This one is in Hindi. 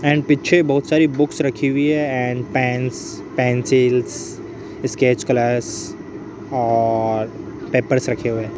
एंड पीछे बहुत सारी बुक्स रखी हुई है and pens pencils sketch colours और पेपर्स रखे हुए हैं।